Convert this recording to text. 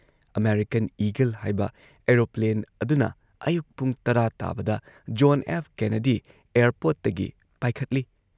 American Eagle ꯍꯥꯏꯕ aeroplane ꯑꯗꯨꯅ ꯑꯌꯨꯛ ꯄꯨꯡ ꯇꯔꯥ ꯇꯥꯕꯗ ꯖꯣꯟ ꯑꯦꯐ ꯀꯦꯅꯦꯗꯤ ꯑꯦꯌꯔꯄꯣꯔꯠꯇꯒꯤ ꯄꯥꯏꯈꯠꯂꯤ